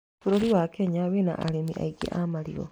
Bũrũri wa Kenya wĩna arĩmi aingĩ a marigũ.